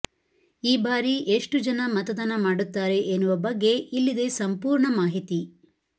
ಈ ಬಾರಿ ಎಷ್ಟು ಜನ ಮತದಾನ ಮಾಡುತ್ತಾರೆ ಎನ್ನುವ ಬಗ್ಗೆ ಇಲ್ಲಿದೆ ಸಂಪೂರ್ಣ ಮಾಹಿತಿ